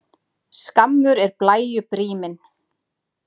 Skammur er blæju bríminn.